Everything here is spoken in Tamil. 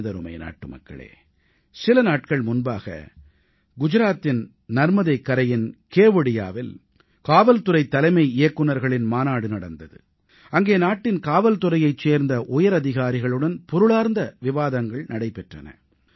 எனதருமை நாட்டுமக்களே சில நாட்கள் முன்பாக குஜராத்தின் நர்மதைக் கரையின் கேவடியாவில் காவல்துறைத் தலைமை இயக்குனர்களின் மாநாடு நடந்தது அங்கே நாட்டின் காவல்துறையைச் சேர்ந்த உயரதிகாரிகளுடன் பொருளார்ந்த விவாதங்கள் நடைபெற்றன